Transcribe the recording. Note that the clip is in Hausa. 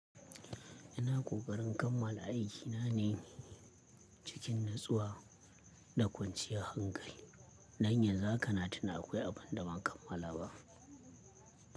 Ina ƙoƙarin kammala aikina ne cikin natsuwa da kwanciyar hankali. Don yanzu haka na tuna akwai abin da ban kammala ba.